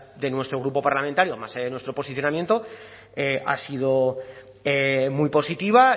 de nuestro grupo parlamentario más allá de nuestro posicionamiento ha sido muy positiva